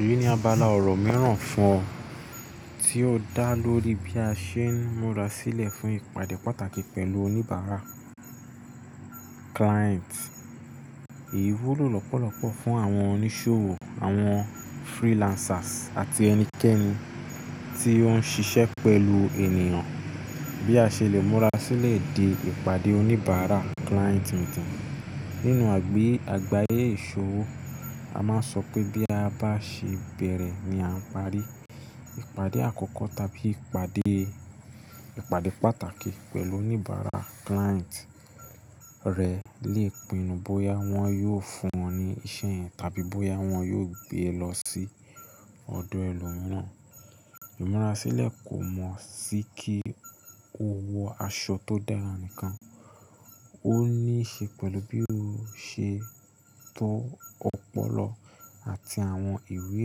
Èyí ni abala ọ̀rọ̀ mẹ́ran fún ọ, tí ó dá lórí bí a ṣe ń múra sílẹ̀ fún ìpàdé pàtàkì pẹ̀lú oníbàárà client. Èyí wúlò lọ́pọ̀lọ́pọ̀ fún àwọn oníṣòwò, àwọn freelancers àti ẹnikẹ́ni tí ó ń ṣiṣẹ́ pẹ̀lú ènìyàn. Bí a ṣe lè múra sílẹ̀ de ìpàdé oníbàárà client tuntun. Nínú àgbáyé ìṣòwò a máa ń sọ pé bí a bá ṣe bẹ̀rẹ̀ ni à ń parí. Ìpàdé àkọ́kọ́ tàbí ìpàdé, ìpàdé pàtàkì pẹ̀lú oníbàárà client rẹ̀ lè pinnu bóyá wọ́n yóò fún ọ ní iṣẹ́ tàbí bóyá wọ́n yóò gbé e lọ sí ọ̀dọ̀ ẹlòmíràn. Ìmúrasílẹ̀ kò mọ̀ sí kí o wọ aṣọ tó dára nìkan, ó ní í ṣe pẹ̀lú bí o ṣe tó ọpọlọ àti àwọn ìwé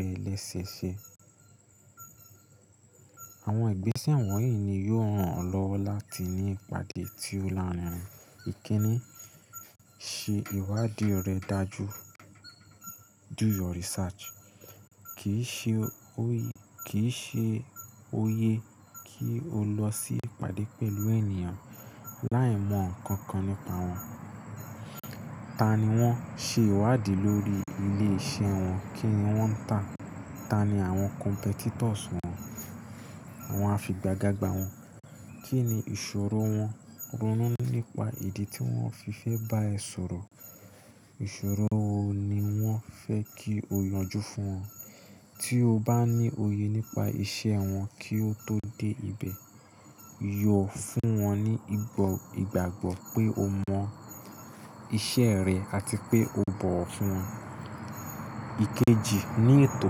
rẹ lẹ́sẹ̀ẹsẹ̀. Àwọn ìgbésẹ̀ wọ̀nyí ni yóò ran ọ lọ́wọ́ láti ní ìpàdé tí ó lanáà. Ìkíni, ṣe ìwádìí rẹ dájú. Do your research. Kì í ṣe, òye, kì í ṣe òye kí o lọ sí ìpàdé pẹ̀lú ènìyàn láì mọ̀ ǹkankan nípa wọn. Ta ni wọ́n? Se ìwádìí lórí ilé iṣẹ́ wọn. Kíni wọ́n ń tà? Ta ni àwọn competitors wọn? Àwọn afìgàgbàga wọn. Kí ni ìṣòro wọn? Ronú nípa ìdí tí wọ́n fi fẹ́ bá ẹ sọ̀rọ̀. Ìṣòro wo ni wọ́n fẹ́ kí o yanjú fún wọn. Tí o bá ní òye nípa iṣẹ́ wọn kí o tó dé ibẹ̀, yọ fún wọn ní ìgbàgbọ́ pé o mọ iṣẹ́ rẹ àti pé o bọ̀wò fún wọn. Ikeji, ní ètò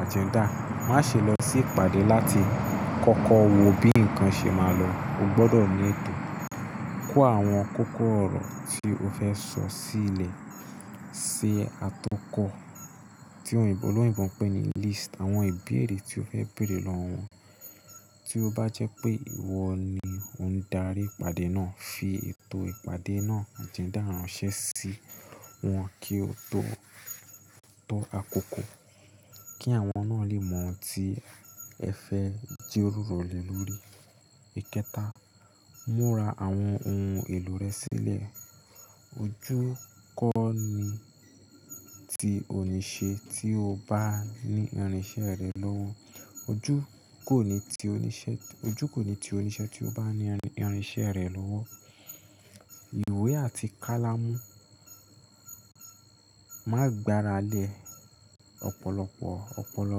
agenda. Má ṣe lọ sí ìpàdé láti kọ́kọ́ wò bí ǹkan ṣe máa lọ. O gbọdọ̀ ní ètò. Kó àwọn kókó ọ̀rọ̀ tí o fẹ́ sọ sílẹ̀ ṣe atọ́kọ̀, tí òyìnbó lóyìnbó ń pè ní list. Àwọn ìbéèrè tí o fẹ́ béèrè lọ́wọ́ wọn. Tí ó bá jẹ́ pé ìwọ ni ò ń darí ìpàdé náà, fi ètò ìpàdé náà, agenda ránṣẹ́ sí wọn kí ó tó tọ́ àkókò, kí àwọn náà lè mọ ohun tí ẹ fẹ́ jí ròrò le lórí. Ìkẹta, múra àwọn ohun èlò rẹ sílẹ̀. Ojú kò ní ti oníṣẹ́ tí o bá ní irinṣẹ́ rẹ̀ lówó. Ojú kò ní ti oníṣẹ́, ojú kò ní ti oníṣẹ́ tí ó bá ní irinṣẹ́ rẹ̀ lówó. Ìwé àti kálámú. Má gbe ara lẹ̀ ọ̀pọ̀lọpọ̀ ọpọlọ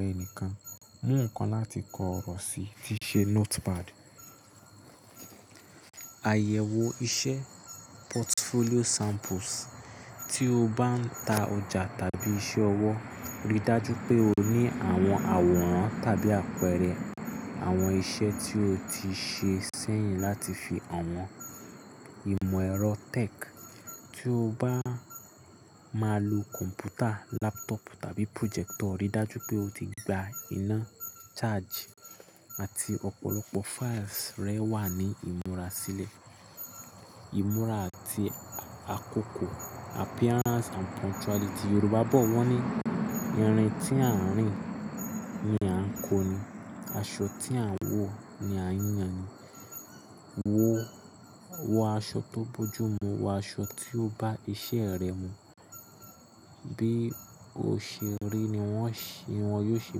rẹ nìkan. Mú nǹkan láti kọ ọ̀rọ̀ sí, tíí ṣe notepad. Àyẹ̀wò iṣẹ́ portfolio samples. Tí o bá ń ta ọjà tàbí iṣẹ́ ọwọ́, rí dájú pé o ní àwọn àwòrán tàbí àpẹẹrẹ àwọn iṣẹ́ tí o ti ṣe sẹ́yìn láti fi hàn wọ́n. Ìmọ̀ ẹ̀rọ tech. Tí o bá máa lo kọ̀m̀pútà, laptop tàbí projector, rí dájú pé o ti gba iná, charge àti ọ̀pọ̀lọpọ̀ files rẹ wà ní ìmúra sílẹ̀. Ìmúra àti àkókò Appearance and punctuality. Yorùbá bọ̀ wọ́n ní, "ìrìn tí a ń rìn ni a ń kó ni; aṣọ tí a ń wọ̀ ni a ń yàn ni." Wọ, wọ aṣọ tó bójú mú, wọ aṣọ tí yóò bá iṣẹ́ rẹ mu. Bí o ṣe rí ni wọ́n ṣì, wọ́n yóò ṣe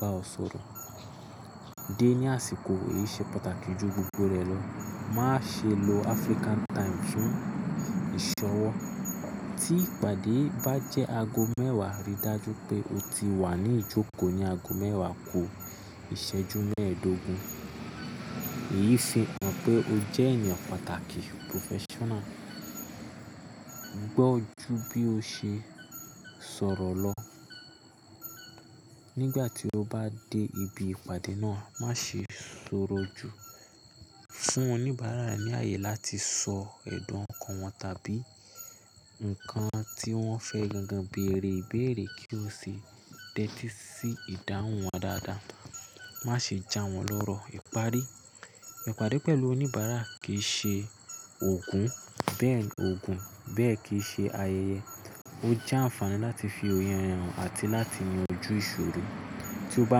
bá ọ sọ̀rọ̀. Dé ní àsìkò. Èyí ṣe pàtàkì ju gbogbo rẹ̀ lọ. Má ṣe lo African time fún ìṣọwọ́. Tí ìpàdé bá jẹ́ ago mẹ́wàá, rí dájú pé o ti wà ní ìjókòó ní ago mẹ́wàá kò ìṣẹ́jú mẹ́ẹ̀ẹ́dógún. Èyí fi hàn pé o jẹ́ ènìyàn pàtàkì, professional. Gbọ́ ju bí o ṣe sọ̀rọ̀ lọ. Nígbà tí o bá dé ibi ìpàdé náà, má ṣe sọ̀rọ̀ ju. Fún oníbàárà ní ààyè láti sọ ẹ̀dùn ọ̀kan wọn tàbí ǹkan tí wọ́n fẹ́ gan-an bèèrè ìbéèrè kí o sì tẹ́tí sí ìdáhùn wọn dáadáa. Má ṣe jà wọ́n lọ́rọ̀. Ìpari. Ìpàdé pẹ̀lú oníbàárà kì í ṣe òògùn, bẹ́ẹ̀ òògùn, bẹ́ẹ̀ kì í ṣe ayẹyẹ. Ó jẹ́ àǹfààní láti fi òye hàn àti láti yanjú ìṣòro. Tí o bá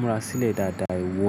múra sílẹ̀ dáadáa, ìwọ.